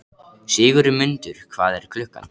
Sigurmundur, hvað er klukkan?